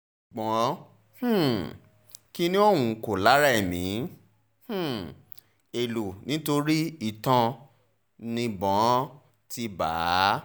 gbọ́n um kinní ọ̀hún kò la ẹ̀mí um è lò nítorí itan níbọn ti bá a